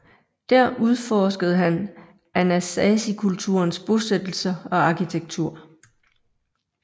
Der udforskede han anasazikulturens bosættelser og arkitektur